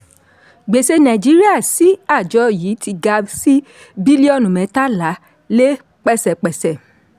gbèsè nàìjíríà sí àjọ yìí ti ga sí bílíọ̀nù mẹ́tàlá lé pẹ́sẹ́pẹ́sẹ́.